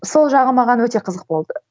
сол жағы маған өте қызық болды